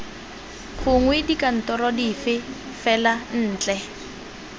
gongwe dikantorong dipe fela ntle